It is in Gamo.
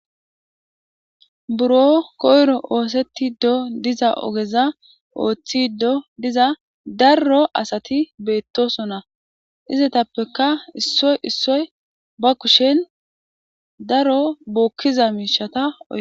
Buro koyro ostide diza ogeza othide diza daro asati beetosona Izatappekka issoy issoy ba kushen daro bookiza miishshata oykidees.